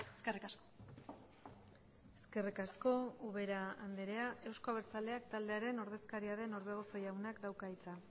eskerrik asko eskerrik asko ubera andrea euzko abertzaleak taldearen ordezkaria den orbegozo jaunak dauka hitza